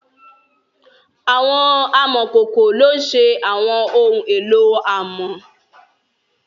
Awọn amọkoko lo n ṣe awọn ohun elo amọ